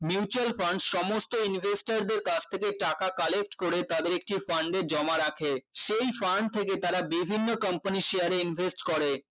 mutual fund সমস্ত investor দের কাছ থেকে টাকা collect করে তাদের একটি fund এ জমা রাখে সেই fund থেকে তারা বিভিন্ন company share এ invest করে